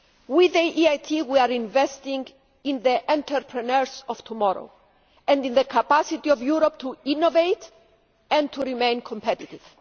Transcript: With the EIT we are investing in the entrepreneurs of tomorrow, and in the capacity of Europe to innovate and to remain competitive.